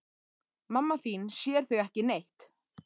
Mamma þín sér þig ekki neitt.